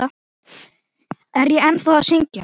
Er ég ennþá að syngja?